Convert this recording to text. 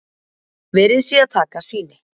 Verið sé að taka sýni